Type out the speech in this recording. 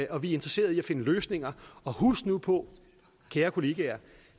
og vi er interesseret i at finde løsninger husk nu på kære kollegaer at